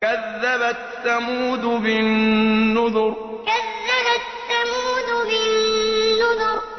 كَذَّبَتْ ثَمُودُ بِالنُّذُرِ كَذَّبَتْ ثَمُودُ بِالنُّذُرِ